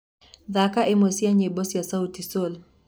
thaka ĩmwe cĩa nyĩmbo cĩa sauti sol